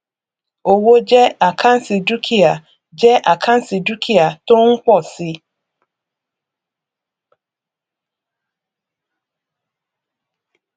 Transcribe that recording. owó jẹ àkáǹtì dúkìá jẹ àkáǹtì dúkìá tó ń pọ si